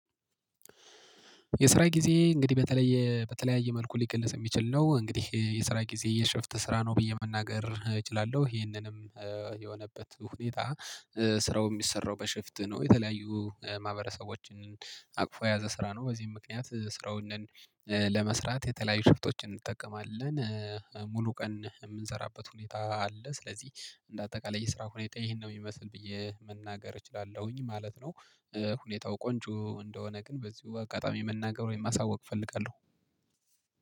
የስራ ግዜ እንግዲህ በተለየ በተለያዩ መልኩ ሊገለጽ የሚችል ነው እንግዲህ የስራ ግዜ የሽፍት ስራ ነው ብዬ መናገር እችላልሁ ይህንንም የሆነበት ሁኔታ ስራው የሚሰራው በሽፍት ነው የተለያዩ ማህበረሰቦችን አቅፎ የያዘ ስራ ነው። በዚህም ምክንያት ስራውን ነን ለመስራት የተለያዩ ሽፍቶችን እንጠቀማለን። ሙሉ ቀን የምንሰራበት ሁኔታ አለ ስለዚህ እንደ አጠቃላይ የስራ ሁኔታ ይሄን ነው የሚመስል ብዬ መናገር እችላለሁኝ ማለት ነው። ሁኔታው ቆንጆ እንደሆነ ግን በዚሁ አጋጣሚ መናገር ወይም ማሳወቅ እፈልጋለሁ